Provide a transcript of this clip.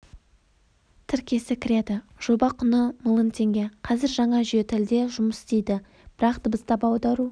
тіркесі кіреді жоба құны миллион теңге қазір жаңа жүйе тілде жұмыс істейді бірақ дыбыстап аудару